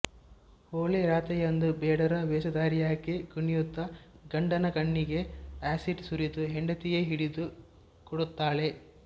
ಹೋಳಿ ರಾತ್ರಿಯಂದು ಬೇಡರ ವೇಷಧಾರಿಯಾಗಿ ಕುಣಿಯುತ್ತ ಗಂಡನ ಕಣ್ಣಿಗೆ ಆಸಿಡ್ ಸುರಿದು ಹೆಂಡತಿಯೇ ಹಿಡಿದು ಕೊಡುತ್ತಾಳೆ